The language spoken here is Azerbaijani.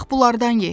Bax bunlardan ye.